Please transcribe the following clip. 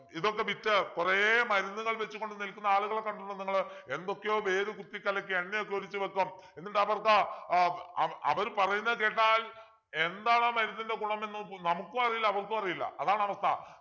ഇതൊക്കെ വിറ്റ് കൊറേ മരുന്നുകൾ വച്ചുകൊണ്ട് നിൽക്കുന്ന ആളുകളെ കണ്ടിട്ടുണ്ടോ നിങ്ങള് എന്തൊക്കെയോ വേര് കുത്തികലക്കി എണ്ണയൊക്കെ ഒഴിച്ച് വെക്കും എന്നിട്ടവർക്ക് ആഹ് അവ അവര് പറയുന്ന കേട്ടാൽ എന്താണാ മരുന്നിൻ്റെ ഗുണമെന്നു നമുക്കും അറിയില്ല അവർക്കും അറിയില്ല അതാണ് അവസ്ഥ